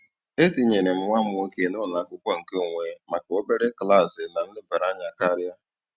E tinyere m nwa m nwoke n'ụlọ akwụkwọ nkeonwe maka obere klaasị na nlebara anya karịa.